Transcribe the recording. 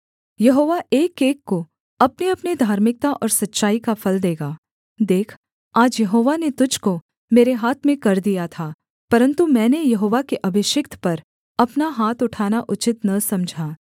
यहोवा एकएक को अपनेअपने धार्मिकता और सच्चाई का फल देगा देख आज यहोवा ने तुझको मेरे हाथ में कर दिया था परन्तु मैंने यहोवा के अभिषिक्त पर अपना हाथ उठाना उचित न समझा